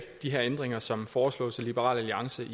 de her ændringer som foreslås af liberal alliance